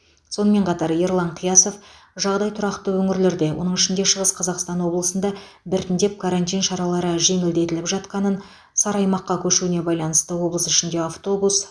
сонымен қатар ерлан қиясов жағдай тұрақты өңірлерде оның ішінде шығыс қазақстан облысында біртіндеп карантин шаралары жеңілдетіліп жатқанын сары аймаққа көшуіне байланысты облыс ішіндегі автобус